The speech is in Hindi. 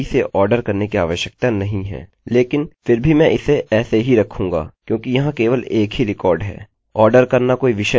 अच्छा तो हम अपना लूपloop रन कर रहे हैं हम यहाँ डेटा के प्रत्येक भाग को चुन रहे हैं और हम male को male में और female को female में बदल रहे हैं